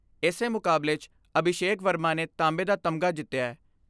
ਇਸੇ ਮੁਕਾਬਲੇ 'ਚ ਅਭੀਸ਼ੇਕ ਵਰਮਾ ਨੇ ਤਾਂਬੇ ਦਾ ਤਮਗਾ ਜਿਤਿਐ।